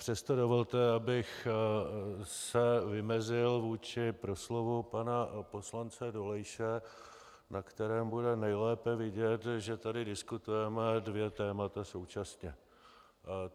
Přesto dovolte, abych se vymezil vůči proslovu pana poslance Dolejše, na kterém bude nejlépe vidět, že tady diskutujeme dvě témata současně.